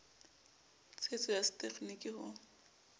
tshetso ya se tegeniki ho